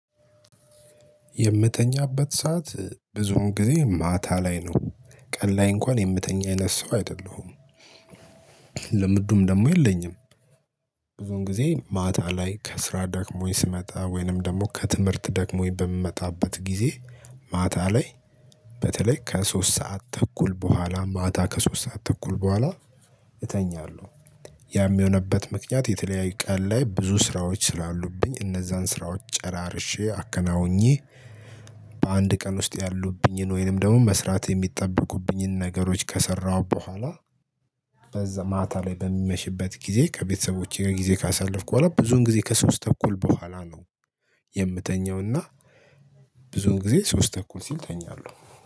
የምተኛበት ሰዓት ብዙውን ጊዜ ማታ ላይ ነው ቀን ላይ እንኳን የምተኛ አይነት ሰው አይደለሁም። ልምዱም ደግሞ የለኝም። ብዙን ጊዜ ማታ ላይ ከስራ ደክሞኝ ስመጣ ወይንም ደግሞ ከትምህርት ደክሞኝ በምመጣበት ጊዜ ማታ ላይ በተለይ ከሶስት ሰዓት ተኩል በኋላ ማታ ከሶስት ሰዓት ተኩል በኋላ እተኛለሁ። ያም የሆነበት ምክንያት የተለያየ ቀን ላይ ብዙ ስራዎች ስላሉብኝ እነዛን ስራዎች ጨራርሼ አከናውኜ በአንድ ቀን ውስጥ ያሉብኝን ወይንም ደግሞ መስራት የሚጠበቁብኝን ነገሮች ከሰራሁ በኋላ። በዛ ማታ ላይ በሚመሽበት ጊዜ ከቤተሰቦቼ ጊዜ ካሳለፍኩ በኋላ ብዙን ጊዜ ከሶስት ተኩል በኋላ ነው። የምተኛውና ብዙን ጊዜ ሶስት ተኩል ሲል እተኛለሁ